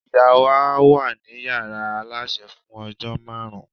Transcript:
ìyá wa ni yàrá aláṣẹ fún ojó máàrún